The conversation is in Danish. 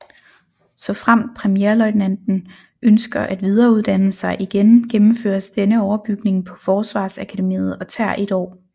Såfremt premierløjtnanten ønsker at videreuddanne sig igen gennemføres denne overbygning på Forsvarsakademiet og tager 1 år